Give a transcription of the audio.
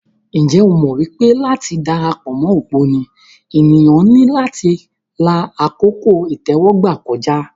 Ǹjẹ́ o mọ̀ pé láti dara pọ̀ mọ́ ògbóni, ènìyàn ní láti la àkókò ìtẹ́wọ́gbà kọjá.